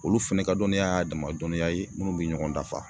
Olu fɛnɛ ka dɔniya y'a dama dɔniya ye minnu bi ɲɔgɔn dafa.